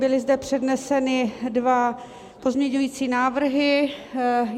Byly zde předneseny dva pozměňující návrhy.